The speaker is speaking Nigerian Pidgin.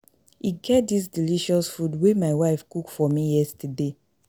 E get dis delicious food wey my wife cook for me yesterday